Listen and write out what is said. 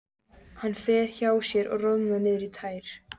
Hann fer hjá sér og roðnar niður í tær.